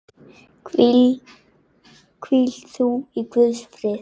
Hvíl þú í Guðs friði.